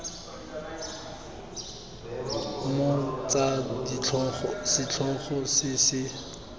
mong tsa setlhogo se se